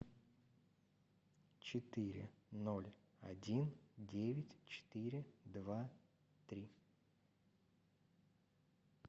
четыре ноль один девять четыре два три